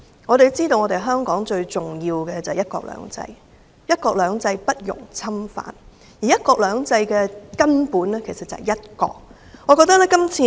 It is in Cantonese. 我們要知道香港最重要的是"一國兩制"，"一國兩制"不容侵犯，而"一國兩制"的根本便是"一國"。